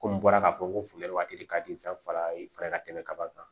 Komi n bɔra k'a fɔ ko funtɛni waati ka di fɛn fa ye ka tɛmɛ kaba kan